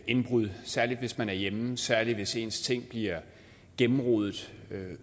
indbrud særlig hvis man er hjemme særlig hvis ens ting bliver gennemrodet